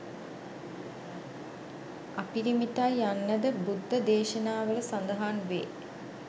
අපිරිමිතයි යන්නද බුද්ද දේශනාවල සඳහන් වේ